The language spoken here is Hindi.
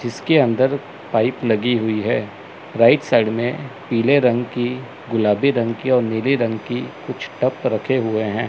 इसके अंदर पाइप लगी हुई है राइट साइड में पीले रंग की गुलाबी रंग की और नीली रंग की कुछ टब रखे हुए हैं।